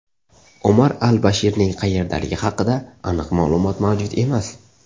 Omar al-Bashirning qayerdaligi haqida aniq ma’lumot mavjud emas.